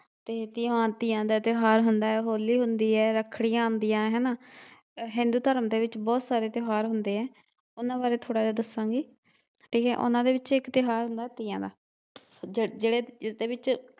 ਹਾਂ ਤੀਆ ਦਾ ਤਿਉਹਾਰ ਹੁੰਦਾ ਏ ਹੋਲੀ ਹੁੰਦੀ ਏ, ਰੱਖੜੀਆ ਆਦੀਆ ਏ ਹੇਨਾ, ਹਿੰਦੂ ਧਰਮ ਦੇ ਵਿਚ ਬਹੁਤ ਸਾਰੇ ਤਿਉਹਾਰ ਹੁੰਦੇ ਏ ਉਹਨਾਂ ਬਾਰੇ ਥੋੜ੍ਹਾ ਜਿਹਾ ਦੱਸਾਂਗੀ। ਠੀਕ ਏ ਉਹਨਾਂ ਦੇ ਵਿਚ ਇੱਕ ਤਿਉਹਾਰ ਹੁੰਦਾ ਤੀਆਂ ਦਾ ਜਿਹੜੇ ਜਿਸਦੇ ਵਿਚ